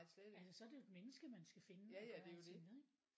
Altså så er det et menneske man skal finde og gøre alting med ikke?